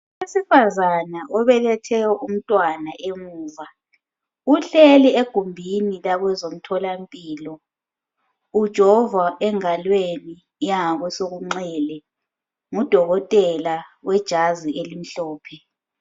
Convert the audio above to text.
owesifazana obelethe umntwana emuva uhleli egumbini lakwezemtholampilo ujovwa engalweni ykwesokunxele ngu dokotela wejazi elimhlophe